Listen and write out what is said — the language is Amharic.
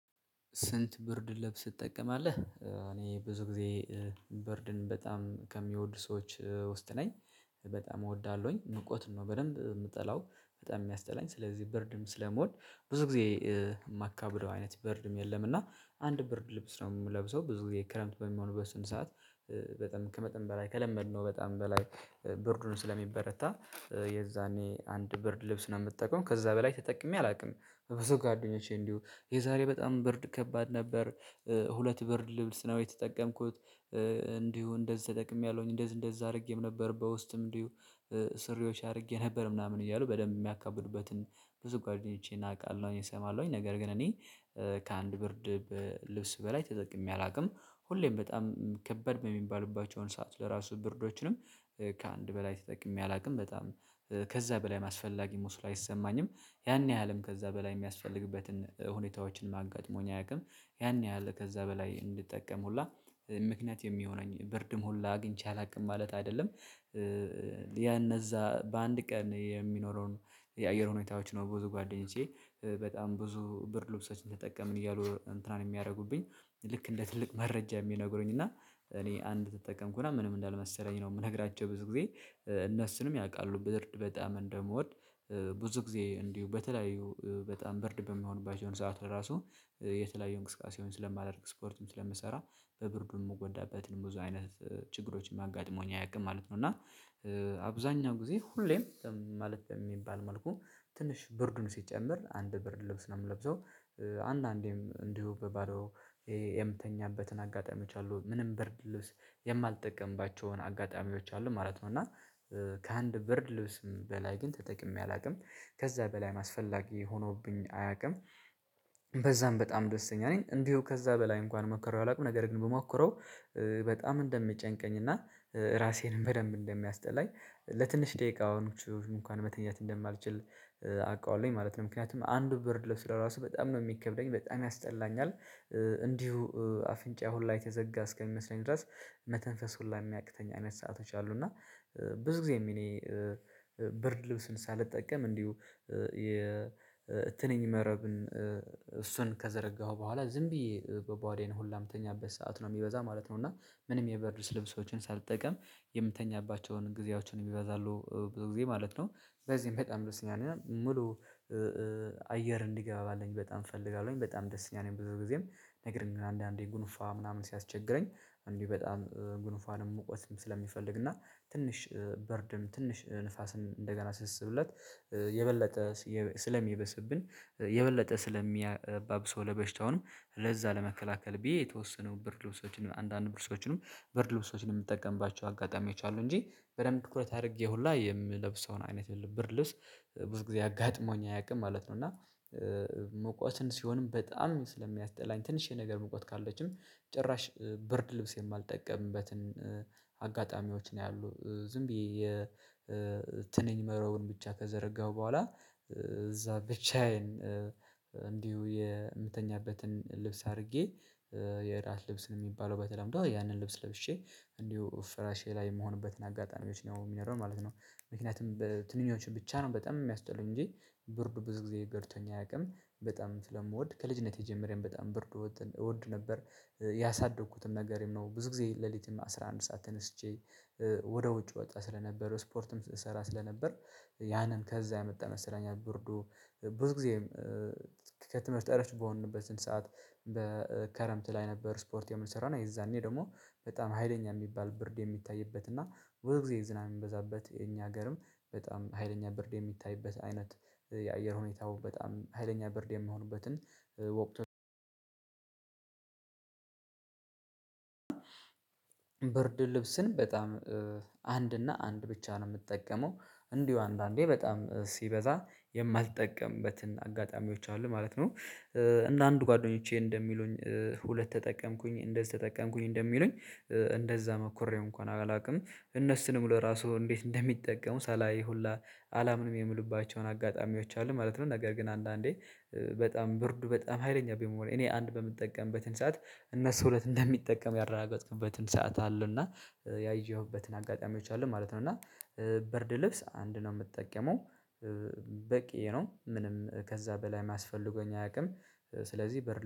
ስንት ብርድ ልብስ ትጠቀማለህ? እኔ ብዙ ጊዜ ብርድን በጣም ከሚወዱ ሰዎች ውስጥ ነኝ። በጣም እወዳለሁኝ ሙቀት ነው በደንብ የምጠላው። በጣም የሚያስጠላኝ ስለዚህ ብርድም ስለሞል ብዙ ጊዜ የማካብለው አይነት ብርድም የለም። እና አንድ በርድ ልብስ ነው የምለብሰው ብዙ ጊዜ ክረምት በሚሆን በስንት ሰዓት በጣም ከመጠን በላይ ከለመድነው በጣም በላይ ብርዱን ስለሚበረታ የዛኔ አንድ ብር ልብስ ነው የምጠቀመው ከዛ በላይ ተጠቅሜ አላውቅም። በዙ ጓደኞች እንዲሁ የዛሬ በጣም ብርድ ከባድ ነበር። ሁለት ብርድ ልብስ ነው የተጠቀምኩት። እንዲሁ እንደዛ ተጠቅሜያለሁኝ እንደዛ እንደዛ አድርጌም ነበር በውስጥም እንዲሁ ሱሪዎች አድርጌ ነበር ምናምን እያሉ በደንብ የሚያካብዱበትን ብዙ ጓደኞቼን አውቃለሁኝ። እሰማለሁኝ ነገር ግን እኔ ከአንድ ብርድ ልብስ በላይ ተጠቅሜ አላውቅም። ሁሌም በጣም ከበድ በሚባልባቸውን ሰዓት ለራሱ ብርዶችንም ከአንድ በላይ ተጠቅሜ አላውቅም። በጣም ከዛ በላይ አስፈላጊ መስሎ አይሰማኝም። ያን ያህልም ከዛ በላይ የሚያስፈልግበትን ሁኔታዎችን ማጋጥሞኝ አያውቅም። ያን ያህል ከዛ በላይ እንድጠቀም ሁላ ምክንያት የሚሆነኝ ብርድም ሁላ አግኝቼ አላውቅም ማለት አይደለም። ያ እነዛ በአንድ ቀን የሚኖረውን የአየር ሁኔታዎች ነው። ብዙ ጓደኞቼ በጣም ብዙ ብርድ ልብሶችን ተጠቀምን እያሉ እንትናን የሚያደርጉብኝ ልክ እንደ ትልቅ መረጃ የሚነግሩኝ እና እኔ አንድ ተጠቀምኩና ምንም እንዳልመሰረኝ ነው የምነግራቸው ብዙ ጊዜ እነሱንም ያውቃሉ በርድ በጣም እንደምወድ። ብዙ ጊዜ እንዲሁ በተለያዩ በጣም ብርድ በምሆንባቸውን ሰዓት ለራሱ የተለያየ እንቅስቃሴውን ስለማደርግ ስፖርትም ስለምሰራ በብርዱ የምጎዳበትን ብዙ አይነት ችግሮችን አጋጠመውኝ አያውቅም ማለት ነው። እና አብዛኛው ጊዜ ሁሌም ማለት የሚባል መልኩ ትንሽ ብርድን ሲጨምር አንድ ብርድ ልብስ ነው የምለብሰው። አንዳንዴም እንዲሁ በባዶ የምተኛበትን አጋጣሚ አሉ ምንም ብርድ ልብስ የማልጠቀምባቸውን አጋጣሚዎች አሉ ማለት ነው። እና ከአንድ ብር ልብስም በላይ ግን ተጠቅሜ አላውቅም ከዛ በላይ አስፈላጊ ሆኖብኝ አያውቅም። በዛም በጣም ደስተኛ ነኝ እንዲሁ ከዛ በላይ እንኳን ሞከረው አላውቅም ነገር ግን ብሞክረው በጣም እንደምጨንቀኝ እና ራሴንም በደንብ እንደሚያስጠላኝ ለትንሽ ደቂቃ አሁን እንኳን መተኛት እንደማልችል አውቃለሁኝ ማለት ነው። ምክንያቱም አንዱ ብር ልብስ ለራሱ በጣም ነው የሚከብደኝ በጣም ያስጠላኛል እንዲሁ አፍንጫ ሁላ የተዘጋ እስከሚመስለኝ ድረስ መተንፈስ ሁላ የሚያቅተኝ አይነት ሰአቶች አሉ። እና ብዙ ጊዜም እኔ ብርድ ልብስን ሳልጠቀም እንዲሁ የትንኝ መረብን እሱን ከዘረጋሁ በኋላ ዝም ብዬ በባዶዬን ሁላ ምተኛበት ሰዓት ነው የሚበዛ ማለት ነው። እና ምንም የብርድ ልብሶችን ሳልጠቀም የምተኛባቸውን ጊዜያቶችው ይበዛሉ ብዙ ጊዜ ማለት ነው። በዚህም በጣም ደስ ይለኛል ሙሉ አየር እንዲገባልኝ በጣም እፈልጋለሁኝ በጣም ደስተኛ ነኝ። ብዙ ጊዜም ነገር እንደናንዳንዴ ጉንፋ ምናምን ሲያስቸግረኝ እንዲህ በጣም ግንፋንም ሙቀስም ስለሚፈልግ እና ትንሽ ብርድም ትንሽ ንፋስን እንደገና ስስብለት የበለጠ ስለሚበስብን የበለጠ ስለሚባብሰው ለበሽታውንም ለዛ ለመከላከል ብዬ የተወሰኑ ብርድ ልብሶችን አንዳንድ ብርድ ልብሶችንም ብርድ ልብሶችንም የምትጠቀምባቸው አጋጣሚዎች አሉ። እንጂ በደንብ ትኩረት አድርጌ ሁላ የምለብሰውን አይነት ብርድ ልብስ ብዙ ጊዜ አጋጥሞኝ አያውቅም ማለት ነው። እና ሙቀትም ሲሆንም በጣም ስለሚያስጠላኝ ትንሽ ነገር ሙቀት ካለችም ጭራሽ ብርድ ልብስ የማልጠቀምበትን አጋጣሚዎች ነው ያሉት ዝም ብዬ የትንኝ መረቡን ብቻ ከዘረጋሁ በኋላ እዛ ብቻዬን እንዲሁ የምተኛበትን ልብስ አድርጌ የራት ልብስን የሚባለው በተለምዶ ያንን ልብስ ለብሼ እንዲሁ ፍራሼ ላይ የምሆንበትን አጋጣሚዎች ነው የሚኖረው ማለት ነው። ምክንያቱም ትንንሽ ብቻ ነው በጣም የሚያስጠሉኝ እንጂ ብርድ ብዙ ጊዜ ገርቶኝ አያውቅም። በጣም ስለምወድ ከልጅነቴ ጀምሬን በጣም ብርድ እወድ እወድ ነበር። ያሳደግኩትን ነገርም ነው ብዙ ጊዜ ሌሊትም አስራ አንድ ሰዓት ተነስቼ ወደ ውጭ ወጣ ስለነበረው ስፖርትም ስትሰራ ስለነበር ያንን ከዛ የመጣ መስለኛል። ብርዱ ብዙ ጊዜም ከትምህርት ቀረች በሆንንበት ስንት ሰዓት በከረምት ላይ ነበር ስፖርት የምንሰራው እና የዛኔ ደግሞ በጣም ሀይለኛ የሚባል ብርድ የሚታይበት እና በዚህ ጊዜ ዝናብ የሚበዛበት የኛ ሀገርም በጣም ሀይለኛ ብርድ የሚታይበት አይነት የአየር ሁኔታው በጣም ሀይለኛ ብርድ የሚሆንበትን ወቅት። ብርድ ልብስን በጣም አንድ እና አንድ ብቻ ነው የምጠቀመው እንዲሁ አንዳንዴ በጣም ሲበዛ የማልጠቀምበትን አጋጣሚዎች አሉ ማለት ነው። እንደ አንድ ጓደኞቼ እንደሚሉኝ ሁለት ተጠቀምኩኝ እንደዚህ ተጠቀምኩኝ እንደሚሉኝ እንደዛ መኩሬው እንኳን አላውቅም እነሱንም ለራሱ እንዴት እንደሚጠቀሙ ሳላይ ሁላ አላምንም የምሉባቸውን አጋጣሚዎች አሉ ማለት ነው። ነገር ግን አንዳንዴ በጣም ብርዱ በጣም ሀይለኛ በሚሆን እኔ አንድ በምጠቀምበትን ሰዓት እነሱ ሁለት እንደሚጠቀሙ ያረጋገጥክበትን ሰዓት አለው እና ያየሁበትን አጋጣሚዎች አሉ ማለት ነው። እና ብርድ ልብስ አንድ ነው የምትጠቀመው በቂ ነው ምንም ከዛ በላይ አስፈልጎኝ አያውቅም። ስለዚህ ብርድ